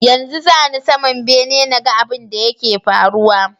Yanzu zani saman bene naga abun da yake faruwa